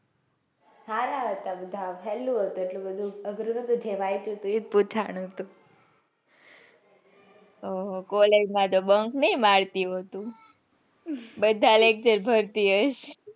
સારા હતા બધા સહેલું હતું કઈ એટલું બધું અગ્ર નતું. જે વાંચ્યું હતું એજ પૂછ્યું હતું. આહ college માટે bunk નાઈ મારતી હોય તું બધા lecture ભરતી હોઇ,